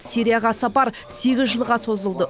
сирияға сапар сегіз жылға созылды